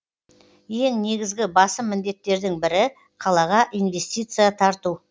ең негізгі басым міндеттердің бірі қалаға инвестиция тарту